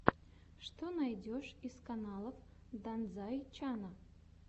что найдешь из каналов данзай чана